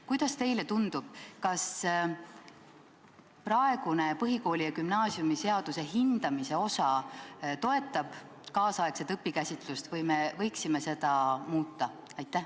Kuidas teile tundub, kas praegune põhikooli- ja gümnaasiumiseaduse hindamise osa toetab nüüdisaegset õpikäsitlust või me võiksime seda muuta?